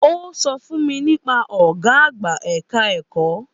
Ó sọ fún mi nípa ọ̀gá àgbà ẹ̀ka-ẹ̀kọ́.